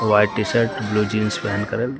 white T-shirt blue jeans पहन कर--